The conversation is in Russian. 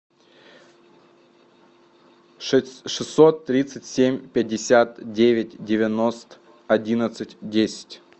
шестьсот тридцать семь пятьдесят девять девяносто одиннадцать десять